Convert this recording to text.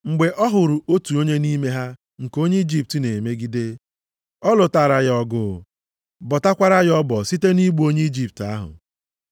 Mgbe ọ hụrụ otu onye nʼime ha nke onye Ijipt na-emegide ya, ọ lụtara ya ọgụ, bọtakwara ya ọbọ site nʼigbu onye Ijipt ahụ.